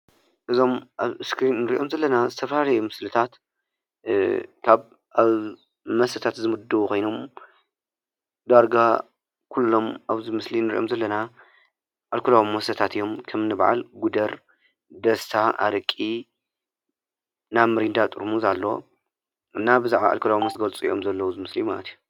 እዞም አብ ምስሊ እንሪኦም ዘለና ዝተፈላለዩ ምስሊታት አብ መስተታት ዝምደቡ ኮይኖም ኩሎም አብዚ ምስሊ እንሪኦም ዘለና አልኮላዊ መስተታት እዩም ከም እኒ በዓል ጉደር፣ ደስታ አረቂን ሚሪንዳ ጥርሙስ አሎ። ብዛዓባ አልኮል ይገልፅ አሎ እዚ ምስሊ።